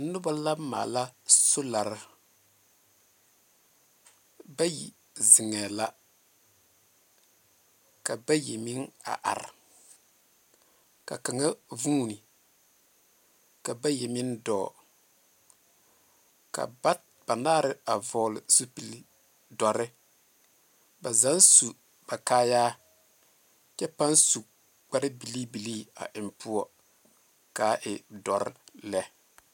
Noba la maala solare. Bayi zeŋɛɛ la. Ka bayi meŋ a are, ka kaŋa vuuni, ka bayi meŋ dɔɔ, ka bat banaare a vɔgle zupili dɔre. ba zaaŋ su ba kaayaa, kyɛ pãã su kparebilii bilii a eŋ poɔ, kaa e dɔre lɛ.